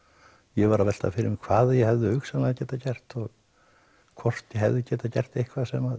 ég var að velta fyrir mér hvað ég hefði hugsanlega getað gert og hvort ég hefði getað gert eitthvað sem